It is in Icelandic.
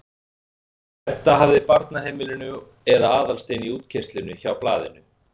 Edda hafði á barnaheimilinu eða Aðalsteinn í útkeyrslunni hjá Blaðinu.